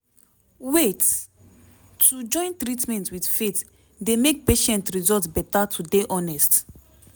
wait - to join treatment with faith dey make patient result beta to dey honest